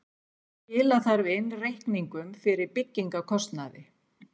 Skila þarf inn reikningum fyrir byggingarkostnaði